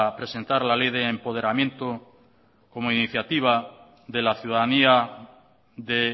presentar la ley de empoderamiento como iniciativa de la ciudadanía de